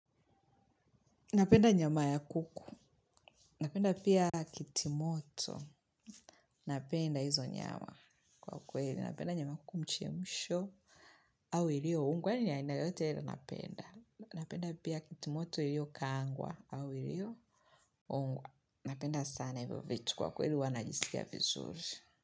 Napenda nyama ya kuku, napenda pia kitimoto, napenda hizo nyama kwa kweli, napenda nyama kumechemshwa, au ilioongwa ni aina yote iei napenda, napenda pia kitu moto iliokaangwa, au ilioongwa, napenda sana hivyo vitu kwa kweli huwa najisikia vizuri.